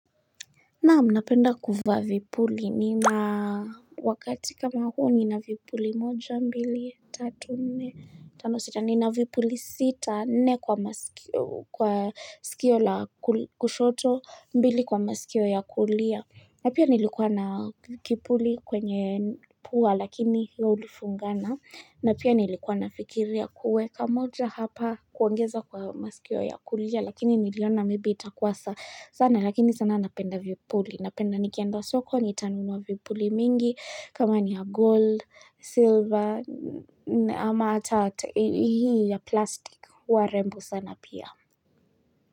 Naam napenda kuvaa vipuli ni ma wakati kama huu nina vipuli moja mbili, tatu nne, tano sita, nina vipuli sita, nne kwa masikio kwa sikio la kushoto, mbili kwa masikio ya kulia. Na pia nilikuwa na kipuli kwenye pua lakini hio ulifungana na pia nilikuwa na fikiria kuweka moja hapa kuongeza kwa masikio ya kulia lakini niliona maybe itakua sana lakini sana napenda vipuli. Napenda nikienda soko nitanunua vipuli mingi kama ni ya gold, silver ama hata hii ya plastic huwa rembo sana pia.